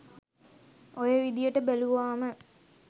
ඔය විදියට බැලුවාම